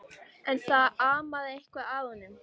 En það amaði eitthvað að honum.